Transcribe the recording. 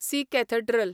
C cathedral